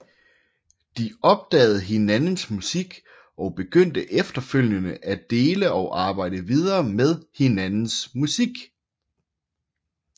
De opdagede hinandens musik og begyndte efterfølgende at dele og arbejde videre med hinandens musik